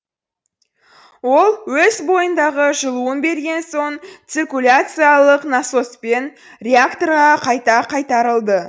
ол өз бойындағы жылуын берген соң циркуляциялық насоспен реакторға қайта қайтарылды